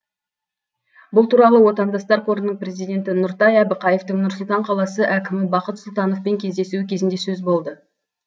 бұл туралы отандастар қорының президенті нұртай әбіқаевтың нұр сұлтан қаласы әкімі бақыт сұлтановпен кездесуі кезінде сөз болды